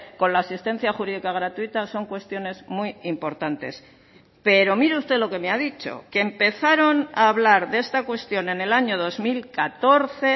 con la asistencia jurídica gratuita son cuestiones muy importantes pero mire usted lo que me ha dicho que empezaron a hablar de esta cuestión en el año dos mil catorce